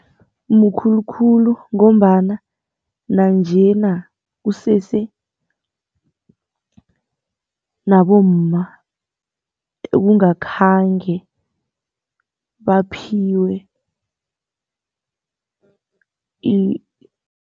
Mkhulu khulu ngombana nanjena kusese, nabomma ekungakhange baphiwe